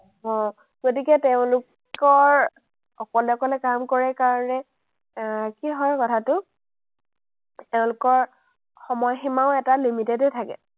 অ, গতিকে তেওঁলোকৰ অকলে অকলে কাম কৰে কাৰণে আহ কি হয় কথাটো, তেওঁলোকৰ সময়সীমাও এটা limited এ থাকে।